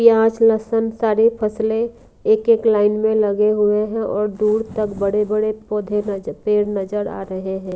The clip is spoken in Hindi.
प्याज लहसुन सारी फसलें एक-एक लाइन में लगे हुए हैं और दूर तक बड़े-बड़े पौधे पेड़ नजर आ रहे हैं।